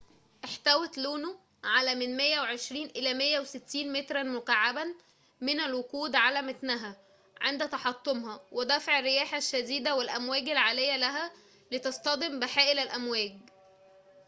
احتوت لونو على من 120 إلى 160 متراً مكعّباً من الوقود على متنها عند تحطمها ودفع الرياح الشديدة والأمواج العالية لها لتصطدم بحائل الأمواج